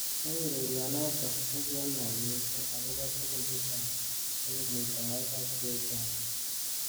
Eng ureri9notok kokianai missing akobo tukun chechang cheu muitaet ak chechang.